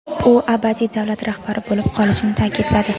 u abadiy davlat rahbari bo‘lib qolishini ta’kidladi.